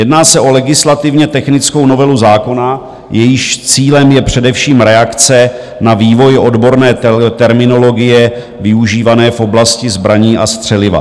Jedná se o legislativně technickou novelu zákona, jejímž cílem je především reakce na vývoj odborné terminologie využívané v oblasti zbraní a střeliva.